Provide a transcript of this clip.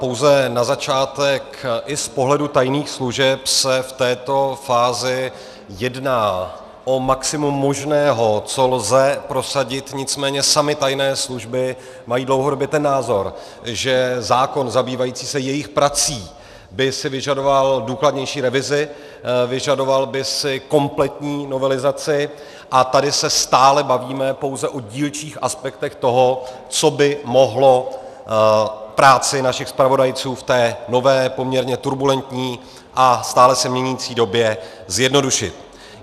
Pouze na začátek i z pohledu tajných služeb se v této fázi jedná o maximum možného, co lze prosadit, nicméně samy tajné služby mají dlouhodobě ten názor, že zákon zabývající se jejich prací by si vyžadoval důkladnější revizi, vyžadoval by si kompletní novelizaci, a tady se stále bavíme pouze o dílčích aspektech toho, co by mohlo práci našich zpravodajců v té nové, poměrně turbulentní a stále se měnící době zjednodušit.